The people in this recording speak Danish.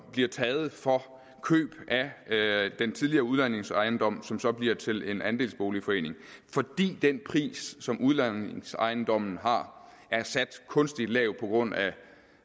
bliver taget for køb af den tidligere udlejningsejendom som så bliver til en andelsboligforening fordi den pris som udlejningsejendomme har er sat kunstigt lavt på grund af